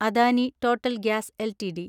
Adani total gas LTD